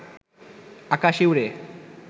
আকাশে ওড়ে